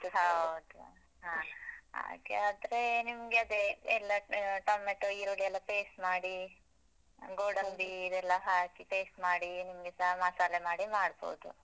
ಹೌದು ಹಾ ಹಾಗೆ ಆದ್ರೆ ನಿಮ್ಗೆ ಅದೇ ಎಲ್ಲ ಆ ಟೊಮೇಟೊ, ಈರುಳ್ಳಿ ಎಲ್ಲ paste ಮಾಡಿ. ಇದೆಲ್ಲ ಹಾಕಿ paste ಮಾಡಿ ನಿಮ್ಗೆ ಸ ಮಸಾಲೆ ಮಾಡಿ ಮಾಡ್ಬೋದು.